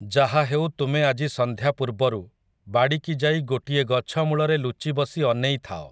ଯାହା ହେଉ ତୁମେ ଆଜି ସଂନ୍ଧ୍ୟା ପୂର୍ବରୁ ବାଡ଼ିକି ଯାଇ ଗୋଟିଏ ଗଛ ମୂଳରେ ଲୁଚି ବସି ଅନେଇ ଥାଅ ।